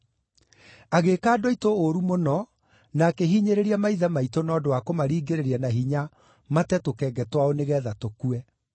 Agĩĩka andũ aitũ ũũru mũno na akĩhinyĩrĩria maithe maitũ na ũndũ wa kũmaringĩrĩria na hinya mate tũkenge twao nĩgeetha tũkue.